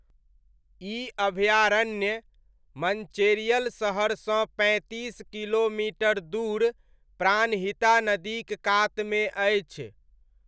ई अभयारण्य, मञ्चेरियल शहरसँ पैँतीस किलोमीटर दूर, प्राणहिता नदीक कातमे अछि।